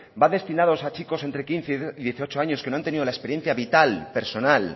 van destinados a chicos entre quince y dieciocho años que no han tenido la experiencia vital personal